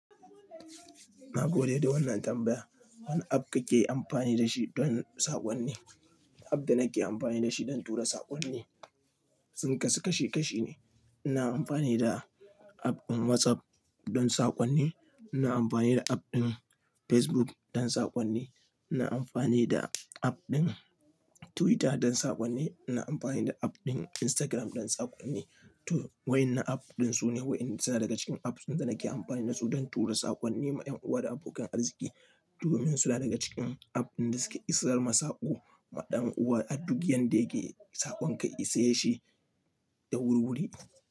Na gode da wannan tambaya. Wane app kake amfani da shi don saƙonni? App da nake amfani da shi dan tura saƙonni sun kasu kashi kashi ne. Ina amfani da app ɗin WhatsApp dan saƙonni, ina amfani da app ɗin Facebook dan saƙonni, ina amfani da app ɗin Twitter dan saƙonni, ina amfani da app ɗin Instagram dan saƙonni. To waƴannan app ɗin su ne waƴnda suna daga cikin apps ɗin da nake amfani da su dan tura saƙonni ma ƴan'uwa da abokan arziki domin suna daga cikin app ɗin da suke isar ma saƙo ma ɗan'uwa a duk yanda yake saƙon ka ya ise shi da wuri wuri.